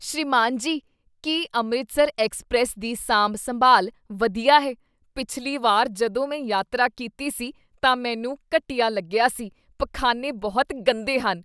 ਸ੍ਰੀਮਾਨ ਜੀ, ਕੀ ਅੰਮ੍ਰਿਤਸਰ ਐਕਸਪ੍ਰੈੱਸ ਦੀ ਸਾਂਭ ਸੰਭਾਲ ਵਧੀਆ ਹੈ? ਪਿਛਲੀ ਵਾਰ ਜਦੋਂ ਮੈਂ ਯਾਤਰਾ ਕੀਤੀ ਸੀ ਤਾਂ ਮੈਨੂੰ ਘਟੀਆ ਲੱਗਿਆ ਸੀ ਪਖਾਨੇ ਬਹੁਤ ਗੰਦੇ ਹਨ